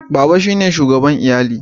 Baba shine shugaban lyalli.